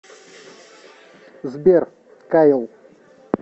сбер кайл